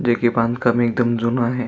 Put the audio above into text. जे की बांधकाम एकदम जून आहे.